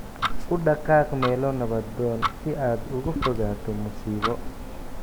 U dhaqaaq meelo nabdoon si aad uga fogaato musiibo